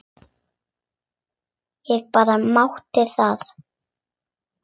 Ég bara mátti það!